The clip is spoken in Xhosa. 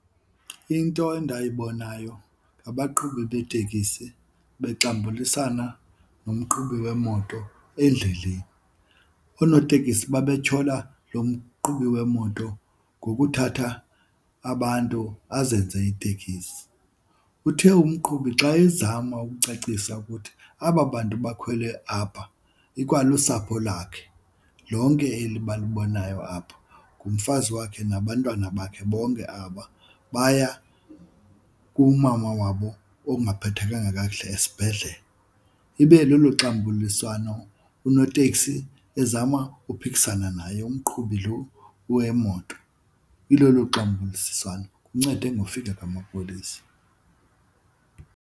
Into endayibonayo abaqhubi beetekisi bexambulisana nomqhubi wemoto endleleni. Oonotekisi babetyhola lo mqhubi wemoto ngokuthatha abantu azenze itekisi. Uthe umqhubi xa ezama ukucacisa ukuthi aba bantu bakhwele apha ikwalusapho lwakhe lonke eli balubonayo apha, ngumfazi wakhe nabantwana bakhe bonke aba baya kumama wabo ongaphathekanga kakuhle esibhedlele. Ibe lolo xambuliswano unoteksi ezama ukuphikisana naye umqhubi lo wemoto, ilolo xambulisiswano, kuncede ngofika kwamapolisa.